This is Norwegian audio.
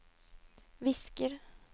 visker